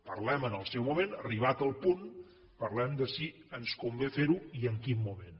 parlem en el seu moment arribat el punt parlem de si ens convé ferho i en quin moment